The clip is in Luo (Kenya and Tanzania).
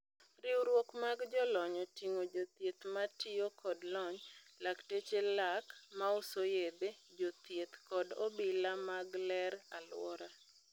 Riwruok mag jolony otingo jothieth matio kod lony, lakteche lak, mauso yedhe, jothieth kod obila mag ler aluora.